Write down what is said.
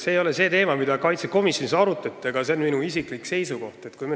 See ei ole teema, mida arutati riigikaitsekomisjonis, aga minu isiklik seisukoht on selline.